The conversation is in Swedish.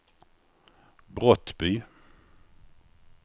Brottby